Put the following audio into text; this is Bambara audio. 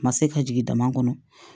Ma se ka jigin dama kɔnɔ